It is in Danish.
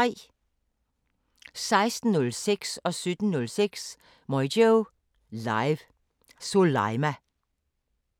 16:06: Moyo Live: Soleima 17:06: Moyo Live: Soleima